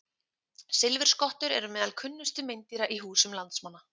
Silfurskottur eru meðal kunnustu meindýra í húsum landsmanna.